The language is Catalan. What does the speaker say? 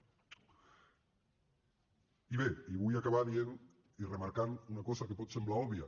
i bé i vull acabar dient i remarcant una cosa que pot semblar òbvia